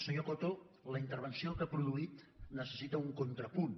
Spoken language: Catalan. senyor coto la intervenció que ha produït necessita un contrapunt